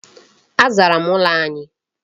Azara m ụlọ anyi.